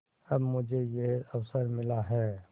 अब मुझे यह अवसर मिला है